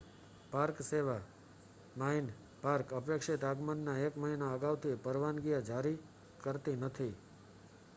park સેવા minae park અપેક્ષિત આગમનના એક મહિના અગાઉથી પરવાનગીઓ જારી કરતી નથી